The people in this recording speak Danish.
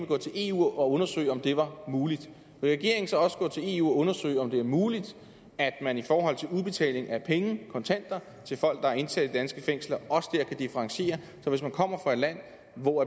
gå til eu og undersøge om det var muligt vil regeringen så også gå til eu og undersøge om det er muligt at man i forhold til udbetaling af penge kontanter til folk der er indsat i danske fængsler også der kan differentiere så hvis man kommer fra et land hvor